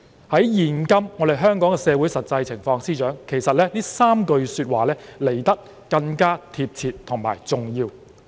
在現今香港社會的實際情況，司長，這3句說話來得更貼切及重要。